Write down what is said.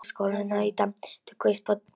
Hugur hans var eitt stórt bókhald.